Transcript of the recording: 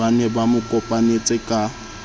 ba ne ba mokopanetse ka